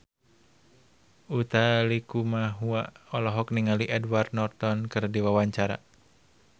Utha Likumahua olohok ningali Edward Norton keur diwawancara